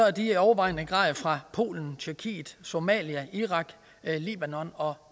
at de i overvejende grad er fra polen tjekkiet somalia irak libanon og